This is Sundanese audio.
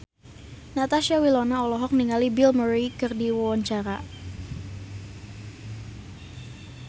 Natasha Wilona olohok ningali Bill Murray keur diwawancara